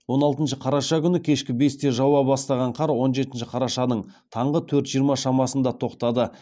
он алтыншы қараша күні кешкі бесте жауа бастаған қар он жетінші қарашаның таңғы төрт жиырма шамасында тоқтады